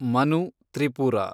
Manu Tripura